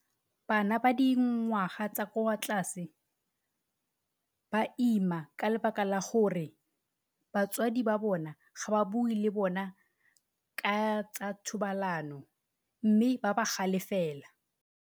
Bana ba dingwaga tsa kwa tlase ba ima ka lebaka la gore batswadi ba bona ga ba bue le bona ka tsa thobalano, mme ba ba galefela.